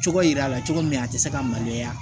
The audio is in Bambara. Cogo yira a la cogo min na a ti se ka maloya